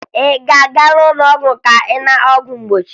Ị ga-aga n'ụlọọgwụ ka ị nata ọgwụ mgbochi?